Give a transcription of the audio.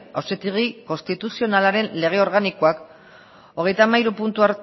auzitegi konstituzionalaren lege organikoak hogeita hamairu puntu